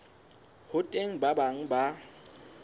ho teng ba bang ba